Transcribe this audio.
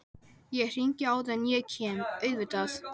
Ég er þreytt sagði Lilla, höldum áfram á morgun